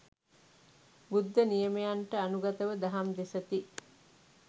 බුද්ධ නියමයන්ට අනුගතව දහම් දෙසති.